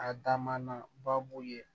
A dama na baabu ye